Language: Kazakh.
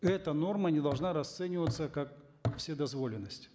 эта норма не должна расцениваться как вседозволенность